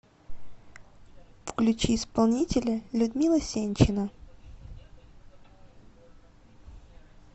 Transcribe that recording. включи исполнителя людмила сенчина